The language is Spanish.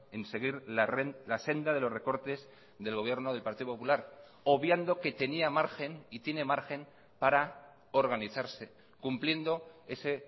en seguir la senda de los recortes del gobierno del partido popular obviando que tenía margen y tiene margen para organizarse cumpliendo ese